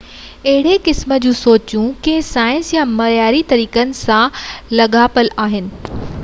اهڙي قسم جي سوچ ڪنهن سائنس يا معياري طريقن سان لاڳاپيل آهي